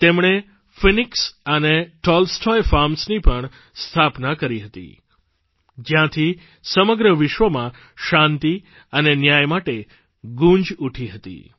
તેમણે ફિનિક્સ અને ટોલ્સ્ટોય ફાર્મ્સની પણ સ્થાપના કરી હતી જયાંથી સમગ્ર વિશ્વમાં શાંતિ અને ન્યાય માટે ગૂંજ ઊઠી હતી